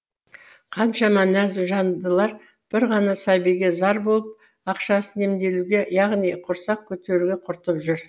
қаншама нәзік жандылар бір ғана сәбиге зар болып ақшасын емделуге яғни құрсақ көтеруге құртып жүр